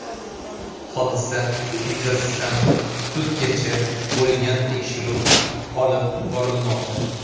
Hodisa yuzasidan sudgacha bo‘lgan tekshiruv olib borilmoqda.